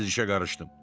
Tez işə qarışdım.